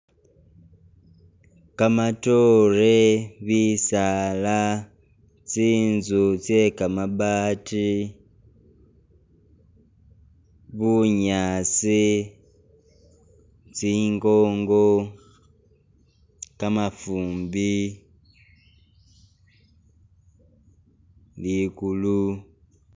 Kamatoore, bisaala tsinzu tse kamabati bunyaasi , tsingongo , kamafumbi ligulu.